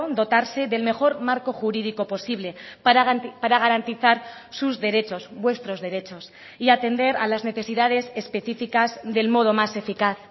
dotarse del mejor marco jurídico posible para garantizar sus derechos vuestros derechos y atender a las necesidades específicas del modo más eficaz